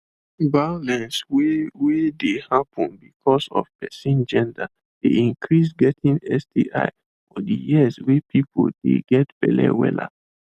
violence wey wey dey happen because of person gender dey increase getting sti for de years wey people dey get belle wella